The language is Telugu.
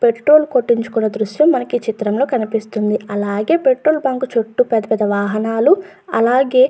పెట్రోల్ కొట్టించుకున్న దృశ్యం మనకు ఈ చిత్రంలో కనిపిస్తుంది. అలాగే పెట్రోల్ బంక్ చుట్టూ పెద్ద పెద్ద వాహనాలు అలాగే --